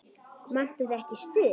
Vantar þig ekki stuð?